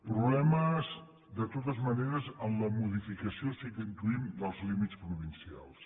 problemes de totes maneres en la modificació sí que n’intuïm dels límits provincials